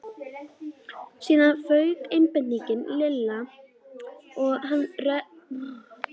Síðan fauk einbeiting Lilla og hann rak upp roknahlátur.